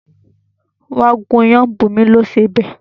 Wá gún iyán! Bunmi lo sọ béè